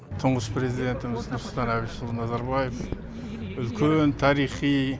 тұңғыш президентіміз нұрсұлтан әбішұлы назарбаев үлкен тарихи